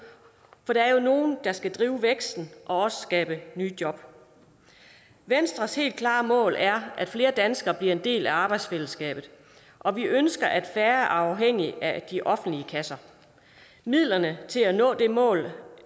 for der er jo nogen der skal drive væksten og også skabe nye job venstres helt klare mål er at flere danskere bliver en del af arbejdsfællesskabet og vi ønsker at færre er afhængige af de offentlige kasser midlerne til at nå det mål